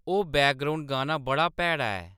ओह्‌‌ बैकग्राउंड गाना बड़ा भैड़ा ऐ